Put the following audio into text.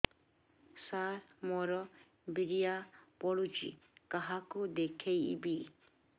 ସାର ମୋର ବୀର୍ଯ୍ୟ ପଢ଼ୁଛି କାହାକୁ ଦେଖେଇବି